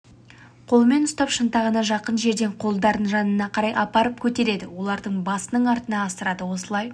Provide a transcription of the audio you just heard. қолымен ұстап шынтағына жақын жерден қолдарын жанына қарай апарып көтереді оларды басының артына асырады осылай